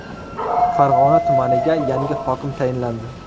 Farg‘ona tumaniga yangi hokim tayinlandi.